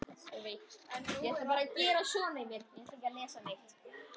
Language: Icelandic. Ég leit aftur á hana.